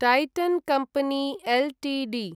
टैटन् company Ltd